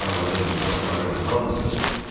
Arvadım, uşaqlarım, hamısı.